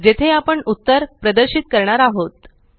जेथे आपण उत्तर प्रदर्शित करणार आहोत